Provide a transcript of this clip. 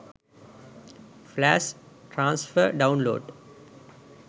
flash transfer download